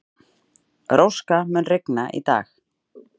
Róska, mun rigna í dag?